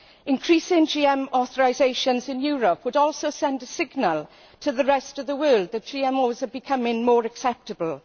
Increasing GM authorisations in Europe would also send a signal to the rest of the world that GMOs are becoming more acceptable.